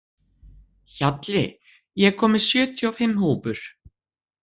Hjalli, ég kom með sjötíu og fimm húfur!